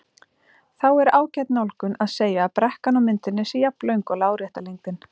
Þá er ágæt nálgun að segja að brekkan á myndinni sé jafnlöng og lárétta lengdin.